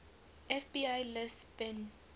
fbi lists bin